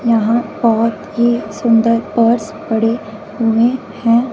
यहां बहोत ही सुंदर पर्स पड़े हुए हैं।